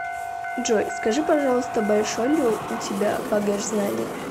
джой скажи пожалуйста большой ли у тебя багаж знаний